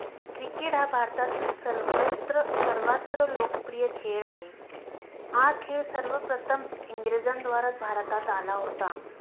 Cricket हा भारतातील सर्वत्र सर्वात्र लोकप्रिय खेळ आहे. हा खेळ सर्वप्रथम इंग्रजांद्वारा भारतात आला होता.